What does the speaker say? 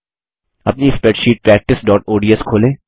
अपनी स्प्रैडशीट practiceओडीएस खोलें